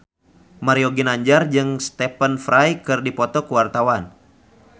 Mario Ginanjar jeung Stephen Fry keur dipoto ku wartawan